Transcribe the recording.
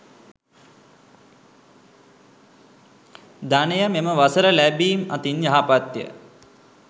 ධනය මෙම වසර ලැබීම් අතින් යහපත්ය.